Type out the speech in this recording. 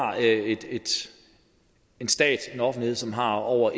en stat en offentlighed som har over